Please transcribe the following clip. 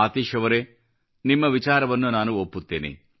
ಆತೀಶ್ ಅವರೇ ನಿಮ್ಮ ವಿಚಾರವನ್ನು ನಾನು ಒಪ್ಪುತ್ತೇನೆ